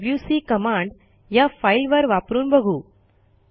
आता WC command या फाईलवर वापरून बघू